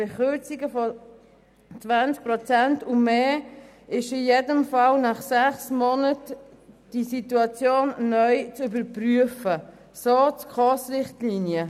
Bei Kürzungen von 20 Prozent und mehr ist in jedem Fall nach sechs Monaten die Situation neu zu überprüfen, so die SKOS-Richtlinien.